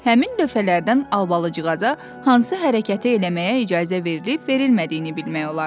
Həmin lövhələrdən Albalıcığaza hansı hərəkəti eləməyə icazə verilb-verilmədiyini bilmək olardı.